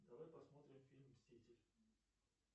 давай посмотрим фильм мститель